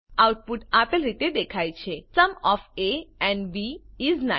output આપેલ રીતે દેખાય છે sum of A and B is 9